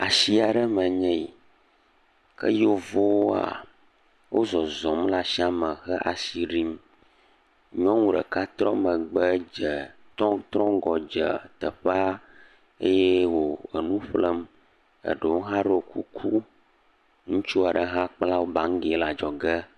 Asi aɖe me enye yi ke yevuwoa, wozɔzɔm le asia me hele asi ɖim. Nyɔnu ɖeka trɔ megbe dze trɔ trɔ ŋgɔ dze teƒea eye wo nu ƒlem eɖewo hã ɖo kuku. Ŋutsu aɖe hã kpla baŋgi le adzɔge.